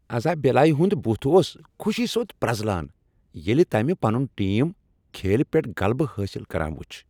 ازابیلایہ ہُند بتھ اوس خوشی سۭتۍ پرٛزلان ییٚلہ تٔمہ پنن ٹیٖم کھیلہ پیٹھ غلبہ حٲصل کران وچھ۔